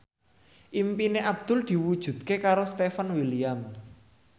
impine Abdul diwujudke karo Stefan William